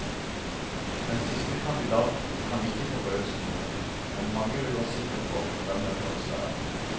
Den siste kandidaten kan ikke forbause noen, men mange lurer sikkert på hvem den første er.